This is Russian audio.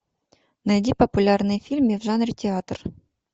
найди популярные фильмы в жанре театр